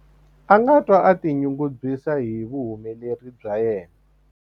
A nga twa a tinyungubyisa hi vuhumeleri bya yena.